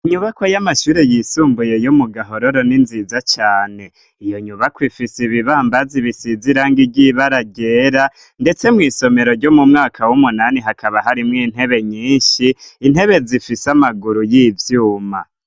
Inyubakwa y'amashure yisumbuye yo mu gahororo n'inziza cane ,iyo nyubakwa ifise ibibambazi bisize irangi iry'ibara ryera, ndetse mw'isomero ryo mu mwaka w'umunani, hakaba hari mw'intebe nyinshi ,intebe zifise amaguru y'ivyuma.